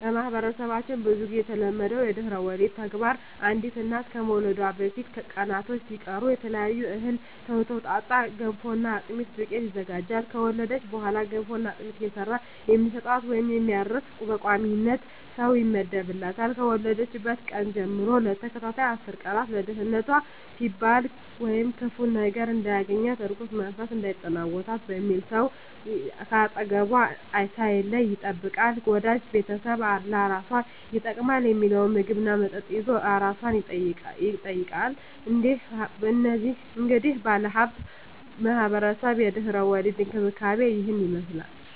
በማህበረሰባችን ብዙ ግዜ የተለመደው የድህረ ወሊድ ተግባር አንዲት እናት ከመውለዷ በፊት ቀናቶች ሲቀሩ ከተለያየ እህል የተውጣጣ የገንፎና የአጥሚት ዱቄት ይዘጋጃል። ከወለደች በኋላ ገንፎና አጥሚት እየሰራ የሚሰጣት ወይም የሚያርስ በቋሚነት ሰው ይመደብላታል፣ ከወለደችበት ቀን ጀም ለተከታታይ አስር ቀን ለደንነቷ ሲባል ወይም ክፉ ነገር እንዳያገኛት(እርኩስ መንፈስ እንዳይጠናወታት) በሚል ሰው ከአጠገቧ ሳይለይ ይጠብቃታል፣ ወዳጅ ቤተሰብ ለአራሷ ይጠቅማል ሚለውን ምግብ እና መጠጥ ይዞ አራሷን ይጠይቃል። እንግዲህ ባለሁበት ማህበረሰብ የድህረ ወሊድ እንክብካቤ እሂን ይመስላል።